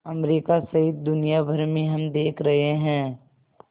America सहित दुनिया भर में हम देख रहे हैं